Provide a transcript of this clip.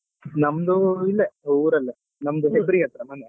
ನಮ್ದು ಇಲ್ಲೇ ಊರಲ್ಲೇ ನಮ್ದು Hebri ಹತ್ರ ಮನೆ.